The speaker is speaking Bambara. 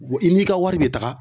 Bɔn i n'i ka wari be taga